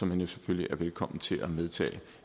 man jo selvfølgelig er velkommen til at medtage